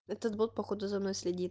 этот бот походу за мной следит